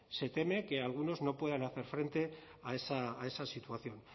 se teme que algunos no puedan hacer frente a esa situación